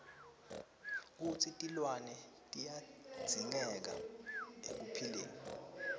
kutsi tilwane tiyadzingeka ekuphileni